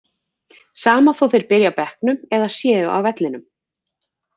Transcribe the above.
Sama þó þeir byrji á bekknum eða séu á vellinum.